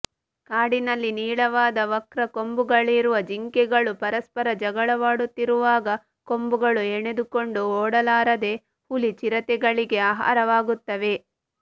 ಕಾಡಿನಲ್ಲಿ ನೀಳವಾದ ವಕ್ರ ಕೊಂಬುಗಳಿರುವ ಜಿಂಕೆಗಳು ಪರಸ್ಪರ ಜಗಳವಾಡುತ್ತಿರುವಾಗ ಕೊಂಬುಗಳು ಹೆಣೆದುಕೊಂಡು ಓಡಲಾರದೆ ಹುಲಿ ಚಿರತೆಗಳಿಗೆ ಆಹಾರವಾಗುತ್ತವೆ